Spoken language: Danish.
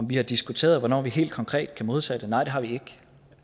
vi har diskuteret hvornår vi helt konkret kan modtage nej det har vi ikke